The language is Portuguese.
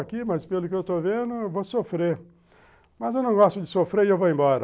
aqui, mas pelo que eu estou vendo, eu vou sofrer, mas eu não gosto de sofrer e eu vou embora.